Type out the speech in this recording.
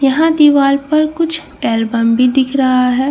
यहाँ दीवाल पर कुछ अल्बम भी दिख रहा है जिनमे --